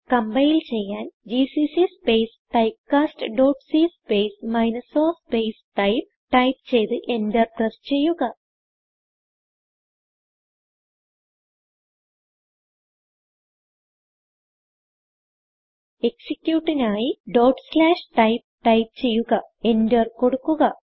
compile ചെയ്യാൻ GCC space typecast dot c space minus o space typeടൈപ്പ് ചെയ്ത് enter press ചെയ്യുക executeനായി typeടൈപ്പ് ചെയ്യുക എന്റർ കൊടുക്കുക